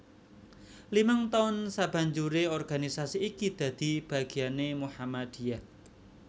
Limang taun sabanjure organisasi iki dadi bagiane Muhammadiyah